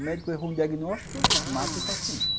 O médico erra um diagnóstico, mata o paciente.